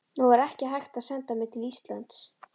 Nú var ekki hægt að senda mig til Íslands.